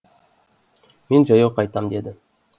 мен жаяу қайтам деді